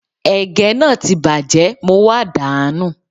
Ègé náà ti bàjẹ́, mo wá dà á nù